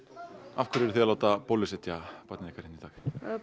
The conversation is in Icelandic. af hverju eruð þið að láta bólusetja barnið ykkar hérna í dag